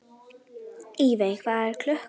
Evey, hvað er klukkan?